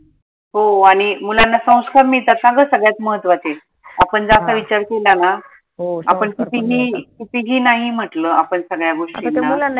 हो आनि मुलांना संस्कार मिळतात ना ग सगळ्यात महत्वाचंय आपण जर असा विचार केला ना कुठेही नाही म्हंटल आपन सगळ्या गोष्टीला